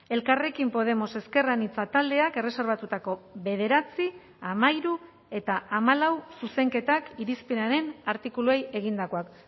elkarrekin podemos ezker anitza taldeak erreserbatutako bederatzi hamairu eta hamalau zuzenketak irizpenaren artikuluei egindakoak